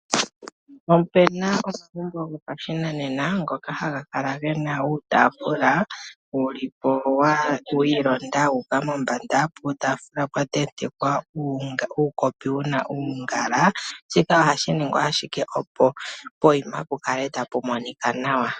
Opu na omagumbo gopashinanena ngoka haga kala ge na uutaafula wu li po wi ilonda wu uka mombanda, puutaafula pwa tentekwa uukopi wu na uungala. Shika ohashi ningwa ashike, opo poyima pu kale tapu monika nawa.